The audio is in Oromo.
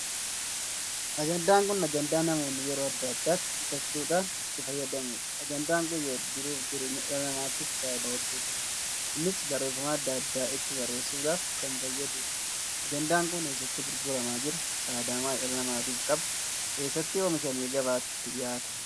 Ajandaan kun ajandaan namoonni yeroo addaa addaatti bitachuudhaan itti fayyadamuudha. ajandaa kun jiruuf jireenya dhala namaatiif faayidaa hedduu qaba. innis, barreeffamaa addaa addaa itti barreessuudhaaf kan fayyaduudha. ajandaan kun eessatti gurguramaa jira? faayidaa maalii dhala namaatiif qaba? Eessatti oomishamee gabaatti dhihaate?